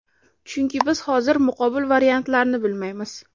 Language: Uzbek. Chunki biz hozir muqobil variantlarni bilmaymiz.